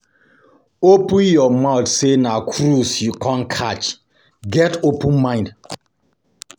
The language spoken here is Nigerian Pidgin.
Open your mind sey na cruise you come catch, get open mind